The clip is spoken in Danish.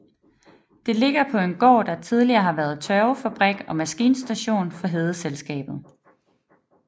Det ligger på en gård der tidligere har været tørvefabrik og maskinstation for Hedeselskabet